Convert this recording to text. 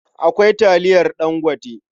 Akwai taliyar Dangote.